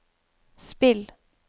spill